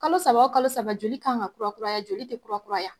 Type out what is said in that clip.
Kalo saba o kalo saba joli kan ka kura kuraya joli be kurakuraya